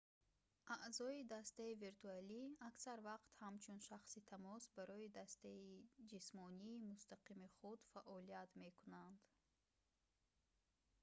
аъзои дастаи виртуалӣ аксар вақт ҳамчун шахси тамос барои дастаи ҷисмонии мустақими худ фаъолият мекунанд